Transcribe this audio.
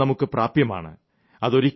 ഇപ്പോൾ ജലം നമുക്ക് പ്രാപ്യമാണ്